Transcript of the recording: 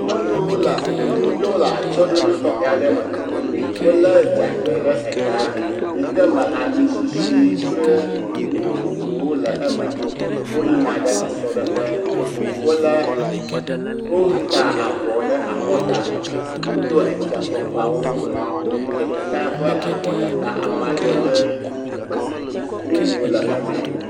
Nyɔnuvi aɖewo le atyse ɖoɖo tɔxɛ me. Wple dzamgbɛ ɖe eta yike me amisisi kple nu vovovowo le eme. Woyi yina ɖe esr ɖe ƒe. Wole le, wota avɔ ɖe akɔ ta. Wodo efia efia fɔkpawo. Ɖeka ƒe avɔ tata amadede srumu le eme.